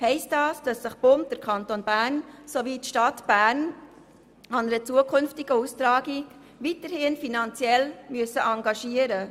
Heisst das, dass sich der Kanton Bern und die Stadt Bern an einer zukünftigen Austragung weiterhin finanziell beteiligen müssen?